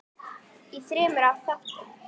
í þremur þáttum.